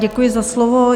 Děkuji za slovo.